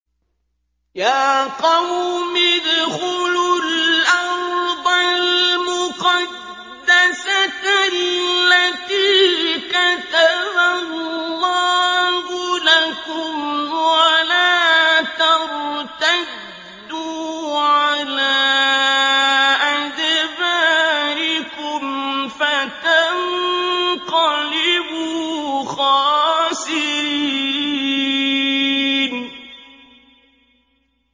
يَا قَوْمِ ادْخُلُوا الْأَرْضَ الْمُقَدَّسَةَ الَّتِي كَتَبَ اللَّهُ لَكُمْ وَلَا تَرْتَدُّوا عَلَىٰ أَدْبَارِكُمْ فَتَنقَلِبُوا خَاسِرِينَ